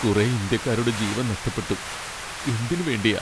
കുറെ ഇന്ത്യക്കാരുടെ ജീവൻ നഷ്ടപ്പെട്ടു, എന്തിനുവേണ്ടിയാ ?